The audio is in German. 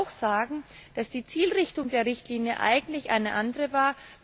Man muss sagen, dass die Zielrichtung der Richtlinie eigentlich eine andere war.